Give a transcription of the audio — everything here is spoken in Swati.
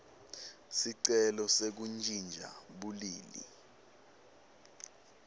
sicelo sekuntjintja bulili